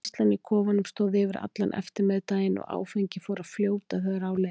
Veislan í kofanum stóð yfir allan eftirmiðdaginn og áfengið fór að fljóta þegar á leið.